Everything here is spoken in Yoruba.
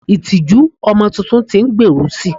itiju ọmọ Titun ti n gberu si